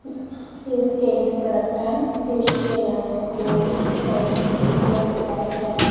Face के लिए product time facial हैं गोल्डिस अ गोल्ड पैक है।